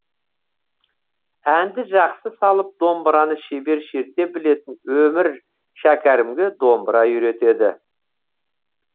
әнді жақсы салып домбыраны шебер шерте білетін өмір шәкәрімге домбыра үйретеді